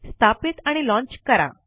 स्थापित आणि लॉन्च करा